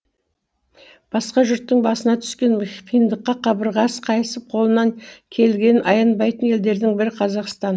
басқа жұрттың басына түскен қиындыққа қабырғасы қайысып қолынан келгенін аянбайтын елдердің бірі қазақстан